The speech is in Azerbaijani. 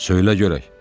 Söylə görək.